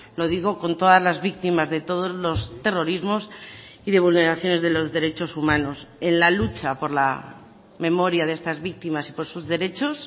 lo digo con todas las víctimas de todos los terrorismos y de vulneraciones de los derechos humanos en la lucha por la memoria de estas víctimas y por sus derechos